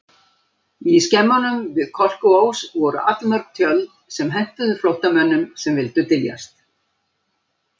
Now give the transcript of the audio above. Í skemmunum við Kolkuós voru allmörg tjöld sem hentuðu flóttamönnum sem vildu dyljast.